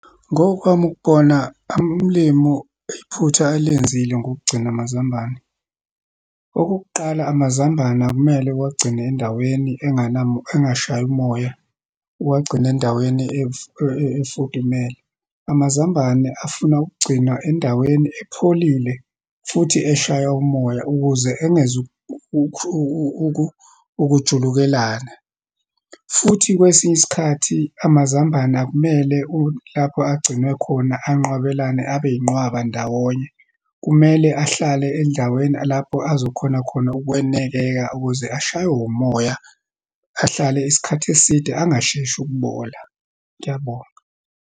Ngokwami ukubona, umlimu, iphutha alenzile ngokugcina amazambane. Okokuqala, amazambane akumele uwagcine endaweni engashayi umoya, uwagcine endaweni efudumele. Amazambane afuna ukugcinwa endaweni epholile futhi eshaya umoya, ukuze ukujulukelana. Futhi kwesinye isikhathi, amazambane akumele lapho agcinwe khona, anqwabelane, abe inqwaba ndawonye. Kumele ahlale endaweni lapho azokhona khona ukwenekeka ukuze ashaywe umoya, ahlale isikhathi eside, angasheshi ukubola. Ngiyabonga.